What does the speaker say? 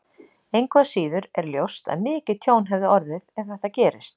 Engu að síður er ljóst að mikið tjón hefði orðið ef þetta gerist.